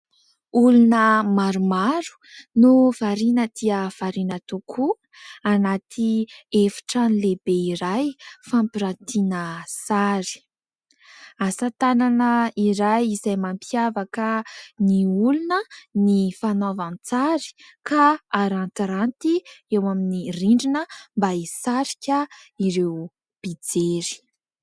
Olona maromaro no variana dia variana tokoa, anaty efitrano lehibe iray fampiratiana sary. Asa tanana iray izay mampiavaka ny olona ny fanaovan-tsary ka arantiranty eo amin'ny rindrina mba hisarika ireo mpijery.